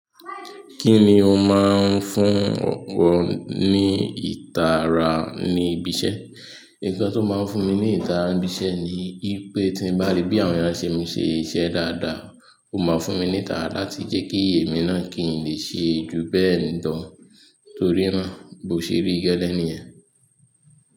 Kí ni o máa ń fún ọ̀pọ̀ ní ìtara ní ibi iṣẹ́? Nkan tí ó máa ń fún mi ní ìtara ní ibi iṣẹ́ ni wípé tí mo bá rí bí àwọn eyan ń ṣe mi ṣe iṣẹ́ dáadáa, ó máa fún mi ní ìtara láti jẹ́ kí ìyè mi náà kì í lè ṣe ju bẹ́ẹ̀ lọ torí náà bó ṣe rí gẹ́lẹ́ nìyẹn.